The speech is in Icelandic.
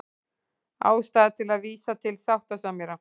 Ástæða til að vísa til sáttasemjara